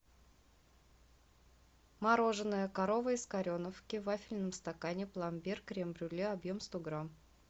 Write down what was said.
мороженое корова из кореновки в вафельном стакане пломбир крем брюле объем сто грамм